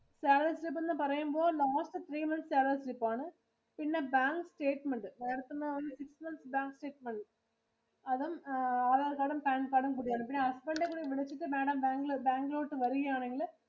Salary slip എന്ന് പറയുമ്പോൾ last three months salary slip ആണ്. പിന്നെ bank statementMadam ത്തിന്റെ ഒരു physical bank statement. അതും Aadhar card ഉം pan card ഉം കൂടിയാണ്. പിന്നെ Husband ഇനെ കൂടി വിളിച്ചിട്ടു MadamBank ഇലോട്ടു Madam വരികയാണെങ്കില്